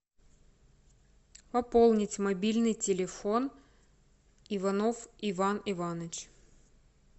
пополнить мобильный телефон иванов иван иванович